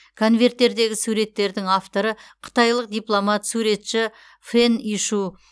конверттердегі суреттердің авторы қытайлық дипломат суретші фэн ишу